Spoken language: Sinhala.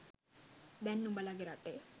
දැන් නුඹලගෙ රටේ